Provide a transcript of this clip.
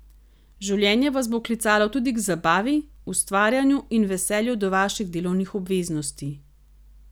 Življenje vas bo klicalo tudi k zabavi, ustvarjanju in veselju do vaših delovnih obveznosti.